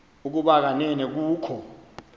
ukuba kanene kukho